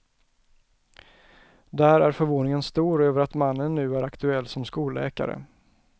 Där är förvåningen stor över att mannen nu är aktuell som skolläkare.